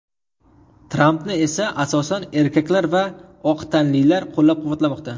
Trampni esa asosan erkaklar va oq tanlilar qo‘llab-quvvatlamoqda.